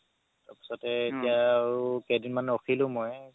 তাৰ পাছতে এতিয়া আৰু কেইদিন মান ৰখিলো মই